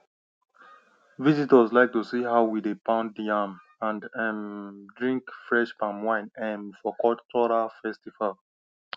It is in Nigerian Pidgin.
visitors like to see how we dey pound yam and um drink fresh palm wine um for cultural festival